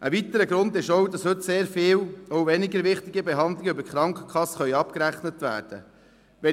Ein weiterer Grund ist auch, dass heute sehr viel – auch weniger wichtige Behandlungen – über die Krankenkassen abgerechnet werden können.